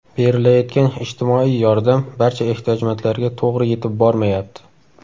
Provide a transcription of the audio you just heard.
Berilayotgan ijtimoiy yordam barcha ehtiyojmandlarga to‘g‘ri yetib bormayapti.